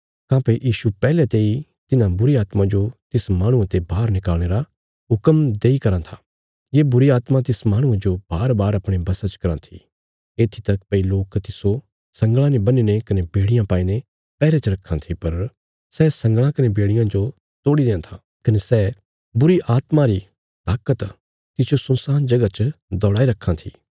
काँह्भई यीशु पैहले तेई तिन्हां बुरीआत्मा जो तिस माहणुआ ते बाहर निकल़णे रा हुक्म देई कराँ था ये बुरीआत्मा तिस माहणुये जो बारबार अपणे वशा च कराँ थी येत्थी तक भई लोक तिस्सो संगल़ां ने बन्हीने कने बेड़ियां पाईने पैहरे च रखां थे पर सै संगल़ां कने बेड़ियां जो तोड़ी देआं था कने सै बुरीआत्मा री ताकत तिसजो सुनसान जगह च दौड़ाई रखां थी